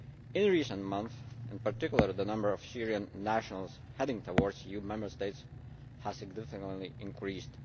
In recent months in particular the number of Syrian nationals heading towards EU Member States has significantly increased.